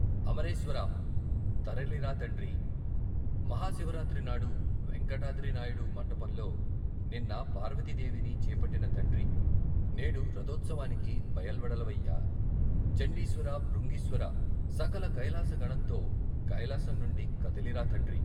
అమరేశ్వరా తరలిరా తండ్రీ. మహా శివరాత్రి నాడు వేంకటాద్రి నాయుడు మంటపంలో నిన్న పార్వతీదేవిని చేపట్టిన తండ్రీ. నేడు రథోత్సవానికి బయల్వెడలవయ్యా ! చండీశ్వర భృంగీశ్వర సకల కైలాసగణంతో కైలాసం నుండి కదలిరా తండ్రీ!